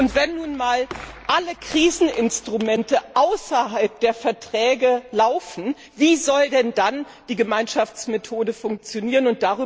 Und wenn nun mal alle Kriseninstrumente außerhalb der Verträge laufen, wie soll denn dann die Gemeinschaftsmethode funktionieren?